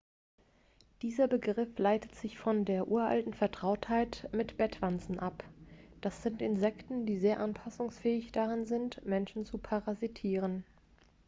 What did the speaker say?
dieser begriff leitet sich von der uralten vertrautheit mit bettwanzen ab das sind insekten die sehr anpassungsfähig darin sind menschen zu parasitieren